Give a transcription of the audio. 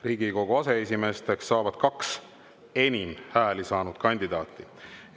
Riigikogu aseesimeesteks saavad kaks enim hääli saanud kandidaati.